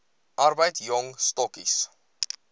arbeid jong stokkies